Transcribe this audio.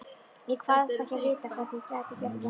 Ég kvaðst ekki vita, hvernig ég gæti gert það.